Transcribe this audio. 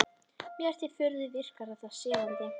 Mér til furðu virkar þetta sefandi.